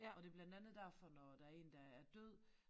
Og det blandt andet derfor når der én der er død